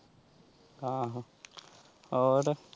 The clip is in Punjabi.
ਹਾਂ ਹੋਰ?